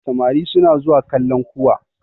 samari suna zuwa kallan kuwa